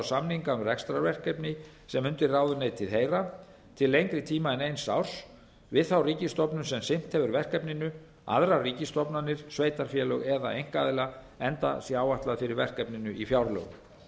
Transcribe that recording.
um rekstrarverkefni sem undir ráðuneytið heyra til lengri tíma en eins árs við þá ríkisstofnun sem sinnt hefur verkefninu aðrar ríkisstofnanir sveitarfélög eða einkaaðila enda sé áætlað fyrir verkefninu í fjárlögum